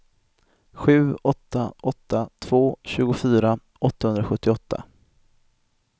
sju åtta åtta två tjugofyra åttahundrasjuttioåtta